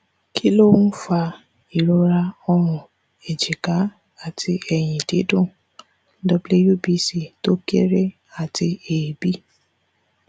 kí ló ń fa ìrora ọrùn ẹjika àti ẹyìn didun wbc tó kéré àti eebi